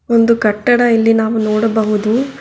ಒಂದು ಕಟ್ಟಡ ಇಲ್ಲಿ ನಾವು ನೋಡಬಹುದು.